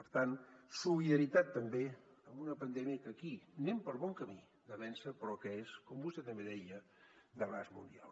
per tant solidaritat també en una pandèmia que aquí anem per bon camí de vèncer però que és com vostè també deia d’abast mundial